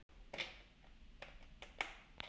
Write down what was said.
Sæunn og Ásgeir.